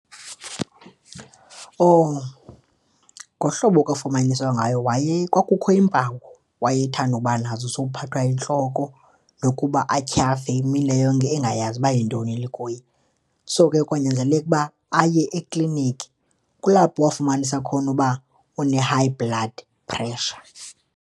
Oh, ngohlobo kwafunyaniswa ngayo waye kwakukho iimpawu wayethanda uba nazo zophathwa yintloko nokuba atyhafe imini le yonke engayazi uba yintoni le ikuye. So, ke kwanyanzeleka ukuba aye ekliniki, kulapho wafumanisa khona uba une-high blood pressure.